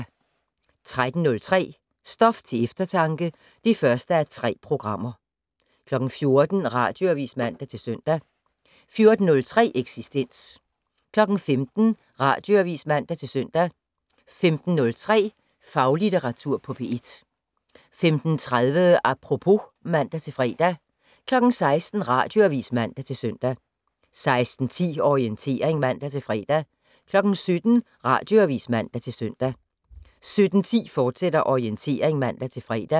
13:03: Stof til eftertanke (1:3) 14:00: Radioavis (man-søn) 14:03: Eksistens 15:00: Radioavis (man-søn) 15:03: Faglitteratur på P1 15:30: Apropos (man-fre) 16:00: Radioavis (man-søn) 16:10: Orientering (man-fre) 17:00: Radioavis (man-søn) 17:10: Orientering, fortsat (man-fre)